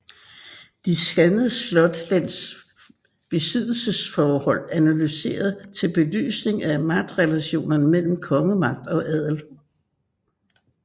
De danske slotslens besiddelsesforhold analyseret til belysning af magtrelationerne mellem kongemagt og adel